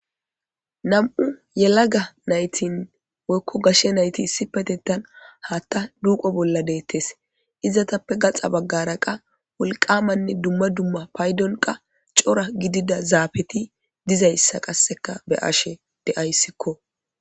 Nam''u yelaga nayitti woyikko gashshe nayitt issippeteththan hatta duqqo bolla detees.izzetappe gatsa bagara qaa wolqammanne dumma dumma payiddonni qaa cora gidida zaafeti dizayissa be'ashshe dayisskko.